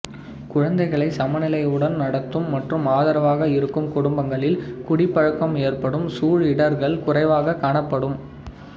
குழந்தைகளைச் சமநிலையுடன் நடத்தும் மற்றும் ஆதரவாக இருக்கும் குடும்பங்களில் குடிப்பழக்கம் ஏற்படும் சூழ் இடர்கள் குறைவாகக் காணப்படும்